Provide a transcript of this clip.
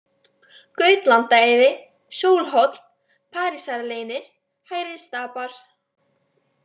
Gautlandaheiði, Sólhóll, Parísarleynir, Hærri-Stapar